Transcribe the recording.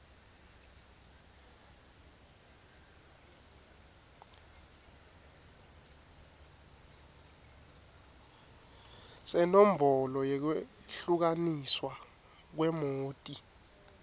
senombolo yekwehlukaniswa kwemoti